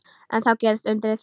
En þá gerðist undrið.